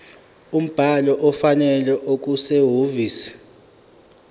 umbhalo ofanele okusehhovisi